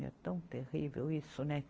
É tão terrível isso, né?